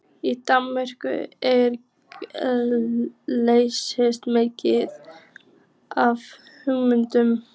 Í Danmörku er geysilega mikið af hundum.